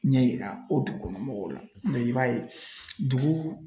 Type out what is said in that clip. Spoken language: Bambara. Ɲɛ yira o dugukɔnɔ mɔgɔw la i b'a ye dugu